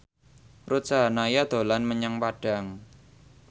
Ruth Sahanaya dolan menyang Padang